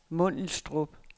Mundelstrup